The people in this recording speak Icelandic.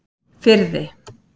Firði